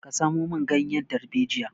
Ka samo min ganyen darbejiya!